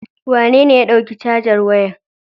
Wanene ya ɗauki cajar wayar?